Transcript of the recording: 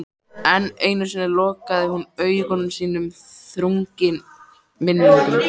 Enn einu sinni lokaði hún augum sínum þrungnum minningum.